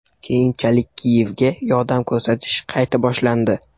Keyinchalik Kiyevga yordam ko‘rsatish qayta boshlandi.